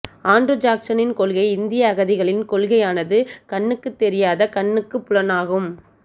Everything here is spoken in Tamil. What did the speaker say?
ஆண்ட்ரூ ஜாக்சனின் கொள்கை இந்திய அகதிகளின் கொள்கையானது கண்ணுக்குத் தெரியாத கண்ணுக்கு புலனாகும்